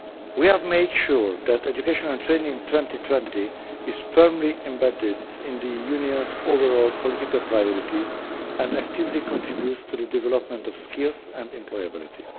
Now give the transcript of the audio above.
We have made sure that Education and Training 2020 is firmly embedded in the Union's overall political priorities and actively contributes to the development of skills and employability.